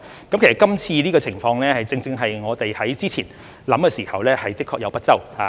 其實今次的情況，正正是我們之前考慮的時候，的確有不周之處。